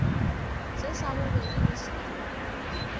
se sa bobedi le sona